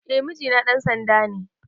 Eh mijina ɗan sanda ne